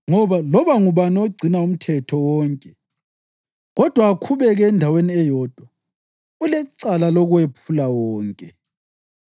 Ngoba loba ngubani ogcina umthetho wonke, kodwa akhubeke endaweni eyodwa, ulecala lokuwephula wonke.